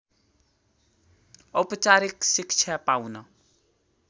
औपचारिक शिक्षा पाउन